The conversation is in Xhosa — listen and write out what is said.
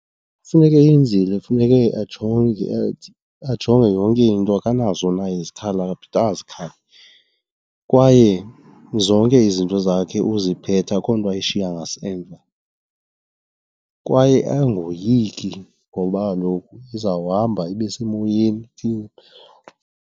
Ekufuneke eyenzile funeke ajonge athi, ajonge yonke into akanazo na izikhali, akaphathanga zikhali. Kwaye zonke izinto zakhe uziphethe akukho nto ayishiya ngasemva. Kwaye angoyiki ngoba kaloku izawuhamba ibe semoyeni .